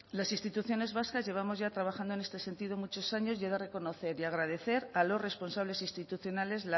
las instituciones vascas llevamos ya trabajando en este sentido muchos años y he de reconocer y agradecer a los responsables institucionales